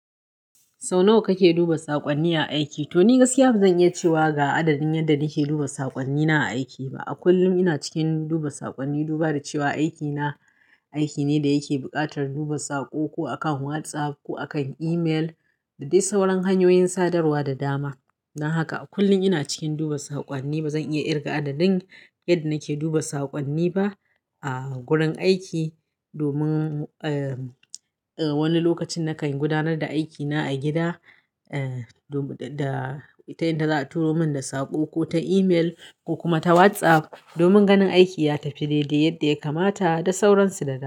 Sau nawa kake duba saƙonni a aiki? Toni gaskiya bazan iya cewa ga adadin yadda nake duba saƙonnina a aiki ba. A kullum ina cikin duba saƙonni, dubada cewa aikina aikine da yake buƙatar duba saƙo, ko a kan WhatsApp ko akan email dadai sauran hanyoyin sadarwa da dama. Don haka a kullum ina cikin duba saƙonni. Bazan iya kirga adadin yadda nake duba saƙonni ba a gurin aiki domin, eh, eh wani lokacin nakan gudanar da aikina a gida, eh, da ita yadda za'a turo min da saƙo kota email ko kuma ta WhatsApp domin ganin aiki ya tafi daidai yadda ya kamata da sauransu da dama.